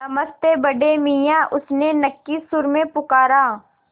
नमस्ते बड़े मियाँ उसने नक्की सुर में पुकारा